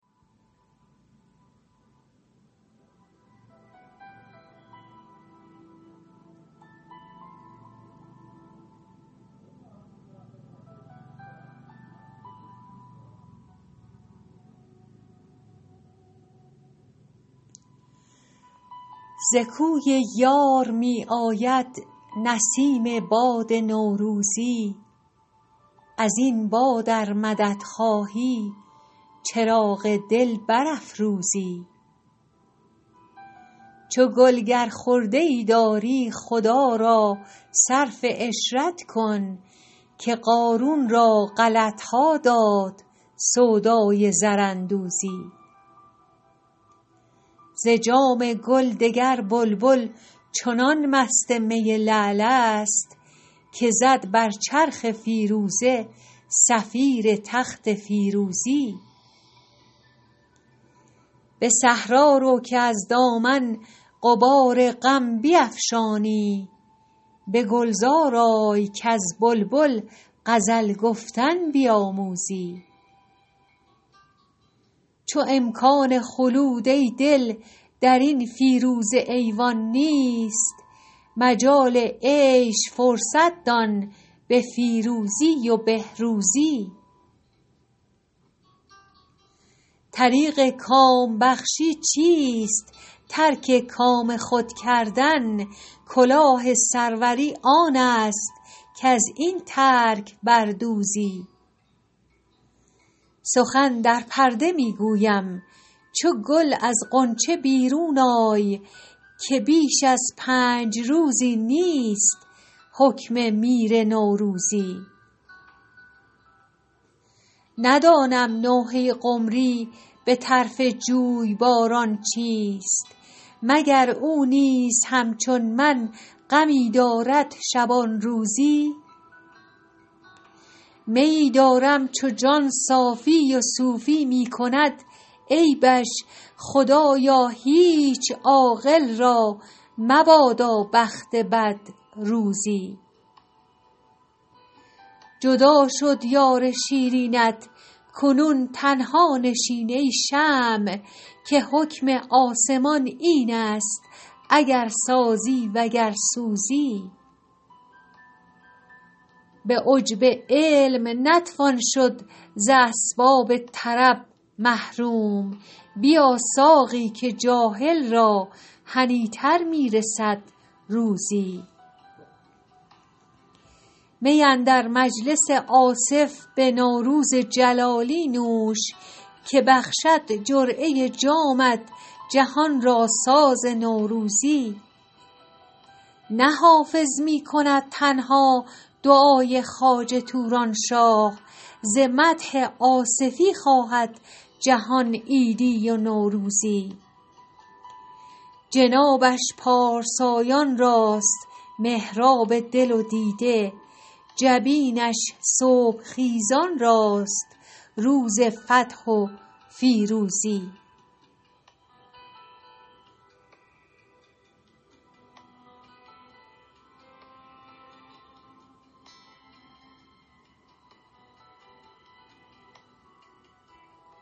ز کوی یار می آید نسیم باد نوروزی از این باد ار مدد خواهی چراغ دل برافروزی چو گل گر خرده ای داری خدا را صرف عشرت کن که قارون را غلط ها داد سودای زراندوزی ز جام گل دگر بلبل چنان مست می لعل است که زد بر چرخ فیروزه صفیر تخت فیروزی به صحرا رو که از دامن غبار غم بیفشانی به گلزار آی کز بلبل غزل گفتن بیاموزی چو امکان خلود ای دل در این فیروزه ایوان نیست مجال عیش فرصت دان به فیروزی و بهروزی طریق کام بخشی چیست ترک کام خود کردن کلاه سروری آن است کز این ترک بر دوزی سخن در پرده می گویم چو گل از غنچه بیرون آی که بیش از پنج روزی نیست حکم میر نوروزی ندانم نوحه قمری به طرف جویباران چیست مگر او نیز همچون من غمی دارد شبان روزی میی دارم چو جان صافی و صوفی می کند عیبش خدایا هیچ عاقل را مبادا بخت بد روزی جدا شد یار شیرینت کنون تنها نشین ای شمع که حکم آسمان این است اگر سازی و گر سوزی به عجب علم نتوان شد ز اسباب طرب محروم بیا ساقی که جاهل را هنی تر می رسد روزی می اندر مجلس آصف به نوروز جلالی نوش که بخشد جرعه جامت جهان را ساز نوروزی نه حافظ می کند تنها دعای خواجه توران شاه ز مدح آصفی خواهد جهان عیدی و نوروزی جنابش پارسایان راست محراب دل و دیده جبینش صبح خیزان راست روز فتح و فیروزی